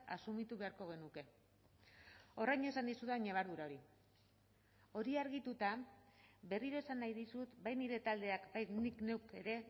asumitu beharko genuke orain esan dizudan ñabardura hori hori argituta berriro esan nahi dizut bai nire taldeak bai nik neuk ere